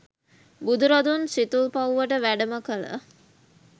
බුදුරදුන් සිතුල්පව්වට වැඩම කළ